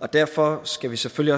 og derfor skal vi selvfølgelig